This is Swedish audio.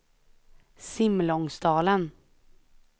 Simlångsdalen